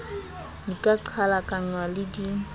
di ka qhalakanngwa le di